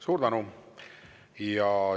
Suur tänu!